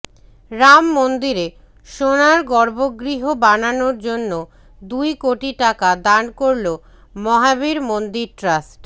রাম মন্দিরে সোনার গর্ভগৃহ বানানোর জন্য দুই কোটি টাকা দান করল মহাবীর মন্দির ট্রাস্ট